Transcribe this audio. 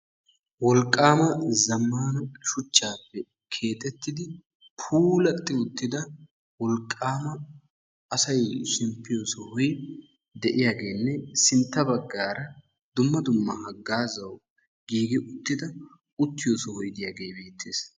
Wolqqama zammana shuchchappe keexxetidi puulati uttida wolqqama asay shempiyo sohoy de'iyaageenne sintta baggaara dumma dumma hagazzawu giigi uttida uttiyo sohoy de'iyaage beettees.